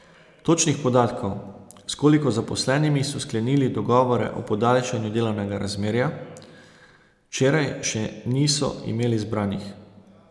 Točnih podatkov, s koliko zaposlenimi so sklenili dogovore o podaljšanju delovnega razmerja, včeraj še niso imeli zbranih.